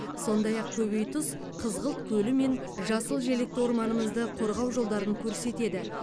сондай ақ көбейтұз қызғылт көлі мен жасыл желекті орманымызды қорғау жолдарын көрсетеді